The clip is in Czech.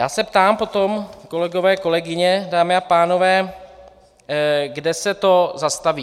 Já se potom ptám, kolegové, kolegyně, dámy a pánové, kde se to zastaví.